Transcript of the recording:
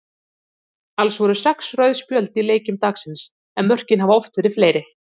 Alls voru sex rauð spjöld í leikjum dagsins en mörkin hafa oft verið fleiri.